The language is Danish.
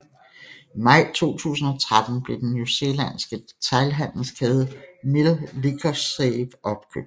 I maj 2013 blev den New Zealandske detailhandelskæde Mill Liquorsave opkøbt